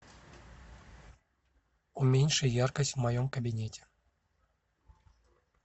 уменьши яркость в моем кабинете